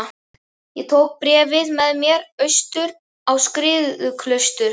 Ég tók bréfið með mér austur á Skriðuklaustur.